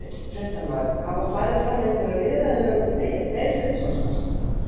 Fréttamaður: Hafa farið fram einhverjar viðræður um meirihlutasamstarf?